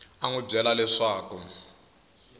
a n wi byela leswaku